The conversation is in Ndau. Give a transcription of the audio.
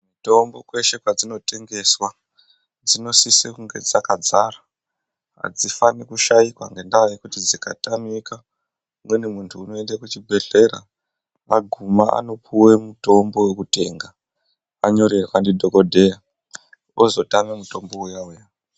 Mitombo kweshe kwadzinotengeswa dzinosise kunge dzakadzara. Hadzifani kushaikwa ngendaa yekuti dzikatamika umweni muntu unoende kuchibhedhlera. Vaguma anopuva mutombo vekutenga anyorerwa ndodhogodheya ozotama mutombo uya-uya.